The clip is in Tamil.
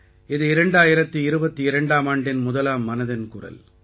இது 2022ஆம் ஆண்டின் முதலாம் மனதின் குரல்